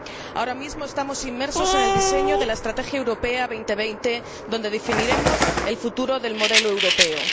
Ahora mismo estamos inmersos en el diseño de la Estrategia Europa 2020 donde definiremos el futuro del modelo europeo.